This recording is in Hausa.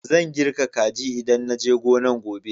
Zan kirga kaji idan na je gonan gobe.